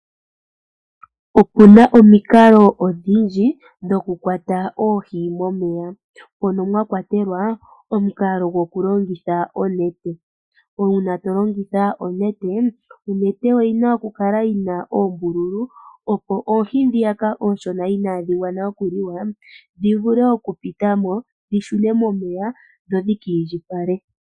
Opuna omikalo odhindji dho kukwata oohi momeya, mono mwakwatelwa omukalo gokulongitha onete. Uuna tolongitha onete, onete oyina oku kala yina oombululu opo oohi dhiyaka oonshona inaadhi gwana okuliwa dhivule oku pitamo dhi shune momeya dho dhikiindjipale.